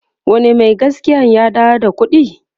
wane Mai gaskiyan ya dawo da ƙuɗin?